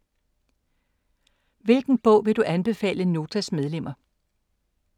Hvilken bog vil du anbefale Notas medlemmer?